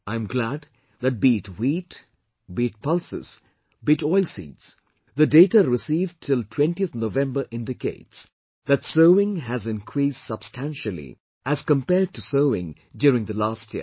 I am glad that be it wheat, be it pulses, be it oilseeds, the data received till 20th November indicates that sowing has increased substantially as compared to sowing during the last year